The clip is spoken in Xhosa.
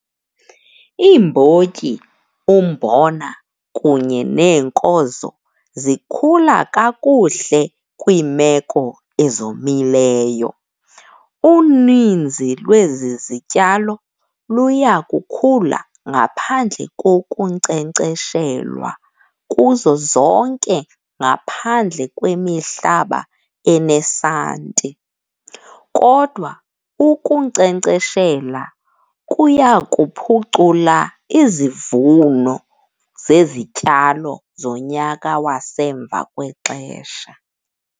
Iimbotyi, umbona kunye neenkozo zikhula kakuhle kwiimeko ezomileyo. Uninzi lwezi zityalo luya kukhula ngaphandle kokunkcenkceshelwa kuzo zonke ngaphandle kwemihlaba enesanti. Kodwa ukunkcenkceshela kuya kuphucula izivuno zezityalo zonyaka wasemva kwexesha.